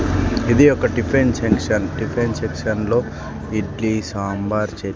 ఇది ఒక tiffin section tiffin section లో ఇడ్లీ సాంబార్ చ--